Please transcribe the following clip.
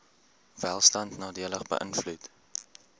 welstand nadelig beïnvloed